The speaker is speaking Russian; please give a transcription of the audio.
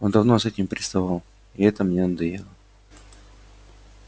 он давно с этим приставал и это мне надоело